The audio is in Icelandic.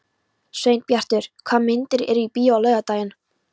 Sveinbjartur, hvaða myndir eru í bíó á laugardaginn?